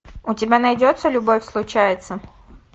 у тебя найдется любовь случается